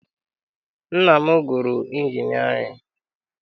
Nna m gụrụ injinịarịn.